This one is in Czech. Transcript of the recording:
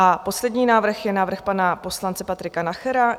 A poslední návrh je návrh pana poslance Patrika Nachera.